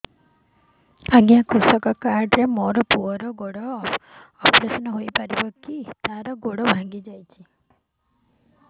ଅଜ୍ଞା କୃଷକ କାର୍ଡ ରେ ମୋର ପୁଅର ଗୋଡ ଅପେରସନ ହୋଇପାରିବ କି ତାର ଗୋଡ ଭାଙ୍ଗି ଯାଇଛ